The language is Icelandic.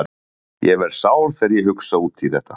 Ég verð sár þegar ég hugsa út í þetta.